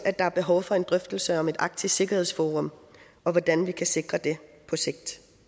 at der er behov for en drøftelse om et arktisk sikkerhedsforum og hvordan vi kan sikre det på sigt